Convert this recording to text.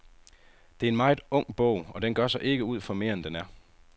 Det er en meget ung bog, og den gør sig ikke ud for mere end den er.